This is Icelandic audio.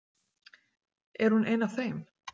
Er hún ein af þeim?